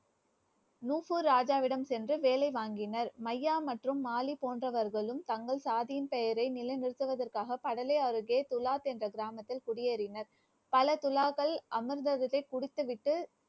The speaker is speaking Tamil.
நூபு ராஜாவிடம் சென்று வேலை வாங்கினர். மையா மற்றும் மாலி போன்றவர்களும் தங்கள் சாதியின் நிலைநிறுத்துவதற்காக கடலை அருகே துலாத் என்ற கிராமத்தில் குடியேறினர். பல துலாக்கள் அமிர்தத்தை குடித்துவிட்டு